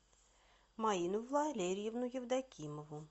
маину валерьевну евдокимову